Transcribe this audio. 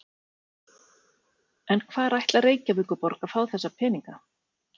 En hvar ætlar Reykjavíkurborg að fá þessa peninga?